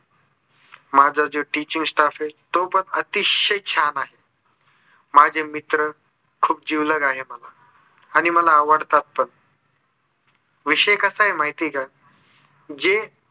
माझं जे teaching staff आहे. तो पण अतिशय छान आहे. माझे मित्र खूप जिवलग आहे मला. आणि मला आवडतात पण विषय कसा आहे माहिती आहे का? जे